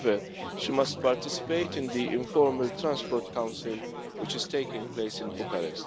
However, she must participate in the informal Transport Council, which is taking place in Bucharest.